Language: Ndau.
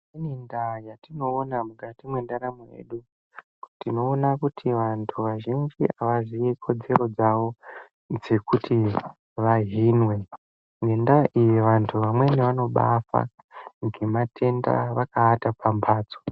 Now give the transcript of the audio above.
Kune ndaa yatinoona mukati mendaramo yedu tinoona kuti antu azhinji havazii kodzero dzawo dzekuti vahinwe. Ngendaa iyi vantu vamweni vanobafa ngematenda vakaata pamhatso.